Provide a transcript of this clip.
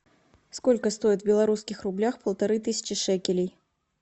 сколько стоит в белорусских рублях полторы тысячи шекелей